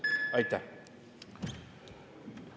Aitäh!